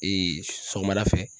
sɔgɔmada fɛ